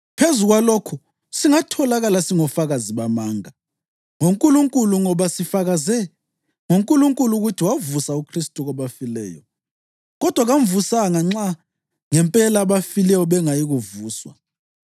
Phezu kwalokho, singatholakala singofakazi bamanga ngoNkulunkulu ngoba sifakaze ngoNkulunkulu ukuthi wavusa uKhristu kwabafileyo. Kodwa kamvusanga nxa ngempela abafileyo bengayi kuvuswa.